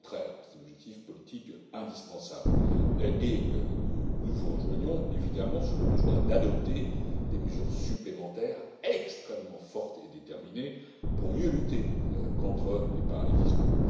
au contraire, c'est un objectif politique indispensable, et nous vous rejoignons évidemment sur le besoin d'adopter des mesures supplémentaires extrêmement fortes et déterminées pour mieux lutter contre les paradis fiscaux.